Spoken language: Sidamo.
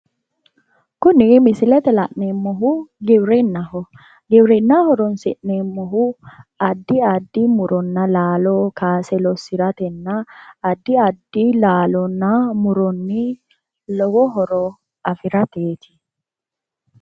Kuni misilete la'neemmohu giwirinnaho giwirinna horoonsi'neemmohu addi addi muronna laalo kaase lossiratenna addi addi muronna laalonni lowo horo afirateeti